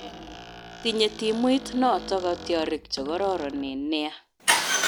Tinye timuit noto katyarik che karoronen nea